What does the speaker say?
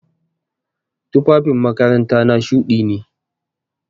Tufafin makarantana shuɗi ne.